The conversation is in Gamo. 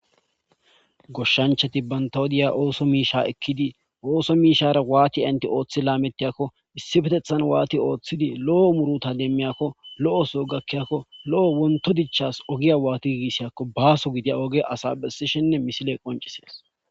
goshshanchati bantawodiya ooso miisha ekkidi ooso miishara waati enti ooththi laamettiyakko issifetethan waati ooththidi lo7o muruta demmiyakko lo7oso gakkiyakko lo7o wonto dichas ogiya waati gigisiyakko baaso gidiya oge asa bessishinne misile qoncisies dees